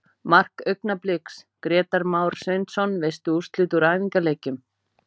Mark Augnabliks: Grétar Már Sveinsson Veistu úrslit úr æfingaleikjum?